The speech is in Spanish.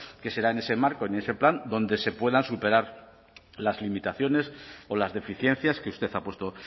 que será en ese marco y en ese plan donde se puedan superar las limitaciones o las deficiencias que usted ha puesto